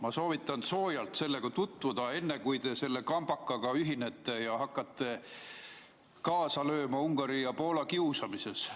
Ma soovitan soojalt sellega tutvuda, enne kui te selle kambakaga ühinete ja hakkate kaasa lööma Ungari ja Poola kiusamises.